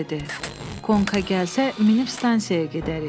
Konka gəlsə minip stansiyaya gedərik.